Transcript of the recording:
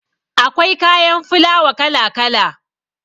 Akwai kayan filawa kala kala